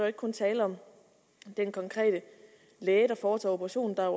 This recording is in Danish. ikke kun tale om den konkrete læge der foretager operationen der er